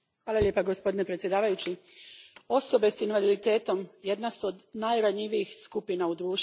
Gospodine predsjedniče, osobe s invaliditetom jedna su od najranjivijih skupina u društvu.